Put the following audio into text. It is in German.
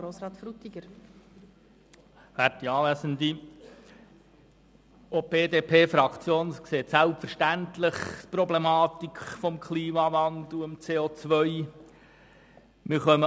Auch die BDP-Fraktion sieht selbstverständlich die Problematik des Klimawandels und des CO.